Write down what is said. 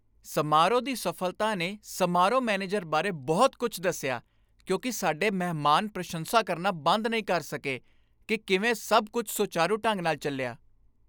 ਸਮਾਰੋਹ ਦੀ ਸਫ਼ਲਤਾ ਨੇ ਸਮਾਰੋਹ ਮੈਨੇਜਰ ਬਾਰੇ ਬਹੁਤ ਕੁੱਝ ਦੱਸਿਆ ਕਿਉਂਕਿ ਸਾਡੇ ਮਹਿਮਾਨ ਪ੍ਰਸ਼ੰਸਾ ਕਰਨਾ ਬੰਦ ਨਹੀਂ ਕਰ ਸਕੇ ਕਿ ਕਿਵੇਂ ਸੱਭ ਕੁੱਝ ਸੁਚਾਰੂ ਢੰਗ ਨਾਲ ਚੱਲਿਆ।